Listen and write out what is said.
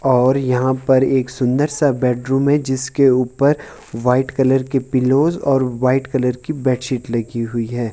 और यहां पर एक सुंदर सा बेडरूम है जिसके ऊपर वाइट कलर की पिलौज़ और वाइट कलर की बेडशीट लगी हुयी है।